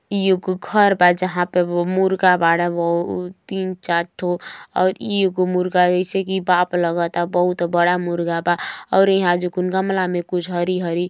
ई एगो घर बा जहां पर मुर्गा बा तीन चार ठो और ई एगो मुर्गा ऐसे की बाप लगता बहुत बड़ा मुर्गा बा और ईहाँ जो कुन गमला में कुछ हरी-हरी --